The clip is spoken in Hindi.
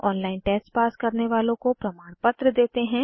ऑनलाइन टेस्ट पास करने वालों को प्रमाणपत्र देते हैं